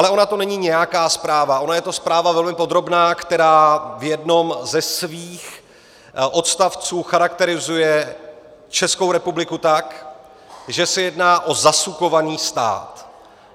Ale ona to není nějaká zpráva, ona je to zpráva velmi podrobná, která v jednom ze svých odstavců charakterizuje Českou republiku tak, že se jedná o zasukovaný stát.